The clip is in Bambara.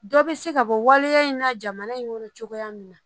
Dɔ be se ka bɔ waleya in na jamana in kɔnɔ cogoya min na